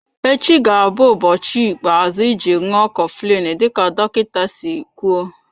Echi ga-abụ ụbọchị ikpeazụ iji ṅụọ coflin dịka dọkịta si kwụọ.